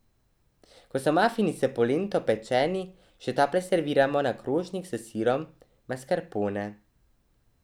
Ko so mafini s polento pečeni, še tople serviramo na krožnik s sirom maskarpone.